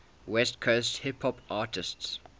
west coast hip hop artists